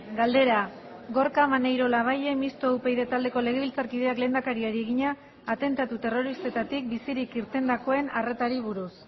galdera gorka maneiro labayen mistoa upyd taldeko legebiltzarkideak lehendakariari egina atentatu terroristetatik bizirik irtendakoen arretari buruz